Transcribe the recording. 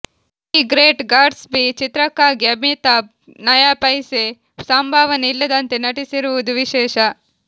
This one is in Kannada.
ದಿ ಗ್ರೇಟ್ ಗಾಟ್ಸ್ ಬಿ ಚಿತ್ರಕ್ಕಾಗಿ ಅಮಿತಾಬ್ ನಯಾಪೈಸೆ ಸಂಭಾವನೆ ಇಲ್ಲದಂತೆ ನಟಿಸಿರುವುದು ವಿಶೇಷ